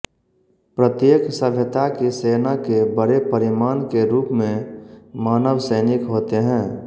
प्रत्येक सभ्यता की सेना के बड़े परिमाण के रूप में मानव सैनिक होते हैं